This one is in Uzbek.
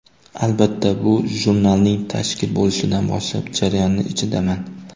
Albatta, bu jurnalning tashkil bo‘lishidan boshlab jarayonning ichidaman.